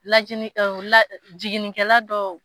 Lajini ɔ la jiginnikɛla dɔw